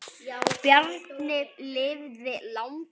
Bjarni lifði langa ævi.